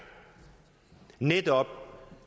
netop